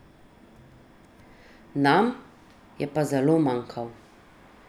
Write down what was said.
Nam je pa zelo manjkal.